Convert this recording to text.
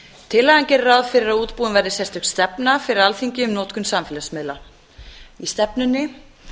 tillagan gerir ráð fyrir að útbúin verði sérstök stefna fyrir alþingi um notkun samfélagsmiðla í stefnunni